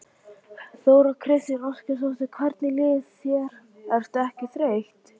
Þóra Kristín Ásgeirsdóttir: Hvernig líður þér, ertu ekki þreytt?